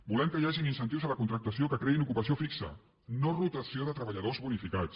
volem que hi hagi incentius a la contractació que creïn ocupació fixa no rotació de treballadors bonificats